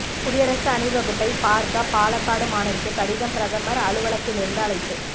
குடியரசு அணிவகுப்பை பார்க்க பாலக்காடு மாணவிக்கு கடிதம் பிரதமர் அலுவலத்திலிருந்து அழைப்பு